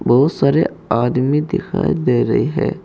बहुत सारे आदमी दिखाई दे रही है।